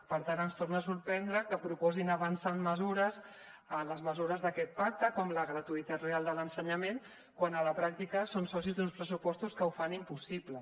per tant ens torna a sorprendre que proposin avançar en les mesures d’aquest pacte com la gratuïtat real de l’ensenyament quan a la pràctica són socis d’uns pressupostos que ho fan impossible